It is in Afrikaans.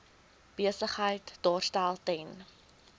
besigheid daarstel ten